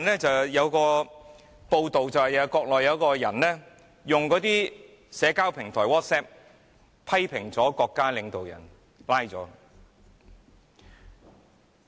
最近有一則報道是，國內有一個人在社交平台，在微信群中批評國家領導人而被捕。